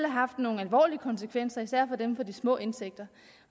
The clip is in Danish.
haft nogle alvorlige konsekvenser især for dem med de små indtægter